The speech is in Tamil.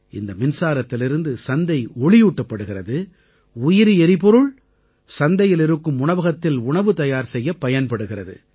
இந்த மின்சாரத்திலிருந்து சந்தை ஒளியூட்டப்படுகிறது உயிரி எரிபொருள் சந்தையில் இருக்கும் உணவகத்தில் உணவு தயார் செய்யப் பயன்படுகிறது